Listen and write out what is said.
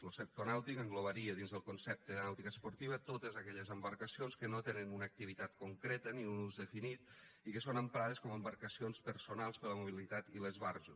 lo sector nàutic englobaria dins del concepte de nàutica esportiva totes aquelles embarcacions que no tenen una activitat concreta ni un ús definit i que són emprades com a embarcacions personals per a la mobilitat i l’esbarjo